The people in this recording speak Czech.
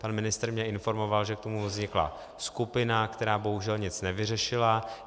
Pan ministr mě informoval, že k tomu vznikla skupina, která bohužel nic nevyřešila.